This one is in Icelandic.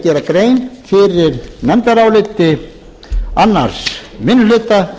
gera grein fyrir nefndaráliti annars minnihluta